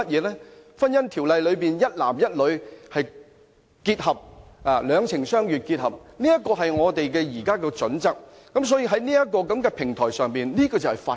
在《婚姻條例》中，一男一女、兩情相悅的結合，是我們現時的準則，所以在這個平台上，這就是法規。